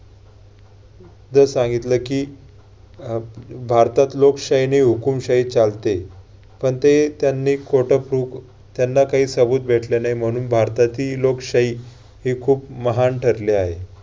जर सांगितलं की ह~भारतात लोकशाही नाही हुकूमशाही चालते. पण ते त्यांनी खोटं prove त्यांना काही भेटला नाही म्हणून भारतातील लोकशाही ही खूप महान ठरली आहे.